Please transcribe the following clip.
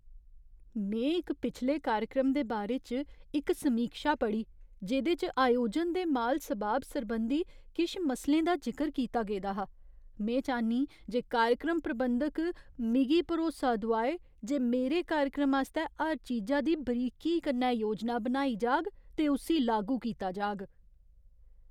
में इक पिछले कार्यक्रम दे बारे च इक समीक्षा पढ़ी जेह्‌दे च आयोजन ते माल सबाब सरबंधी किश मसलें दा जिकर कीता गेदा हा। में चाह्न्नीं जे कार्यक्रम प्रबंधक मिगी भरोसा दोआऐ जे मेरे कार्यक्रम आस्तै हर चीजा दी बरीकी कन्नै योजना बनाई जाह्ग ते उस्सी लागू कीता जाह्ग।